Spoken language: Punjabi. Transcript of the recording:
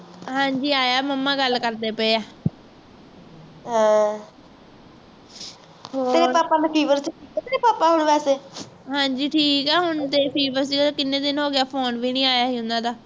ਹਾਂਜੀ ਠੀਕ ਹੈ ਹੁਣ ਤੇ fever ਜੇੜਾ ਕਿੰਨੇ ਦਿਨ ਹੋਗਏ phone ਵੀ ਨਹੀਂ ਊਨਾ ਦਾ